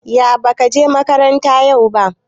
Ya bakaje makaranta yau ba